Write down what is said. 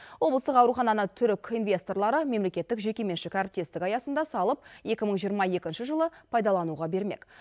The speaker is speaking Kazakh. облыстық аурухананы түрік инвесторлары мемлекеттік жекеменшік әріптестік аясында салып екі мың жиырма екінші жылы пайдалануға бермек